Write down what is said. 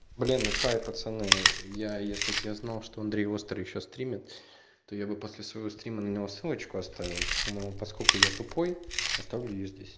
блин хай пацаны я если бы я знал что андрей острый ещё стримит то я бы после своего стрима на него ссылочку оставил но поскольку я тупой оставлю её здесь